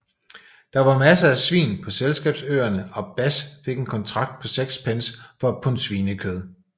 Der var masser af svin på Selskabsøerne og Bass fik en kontrakt på 6 pence for et pund svinekød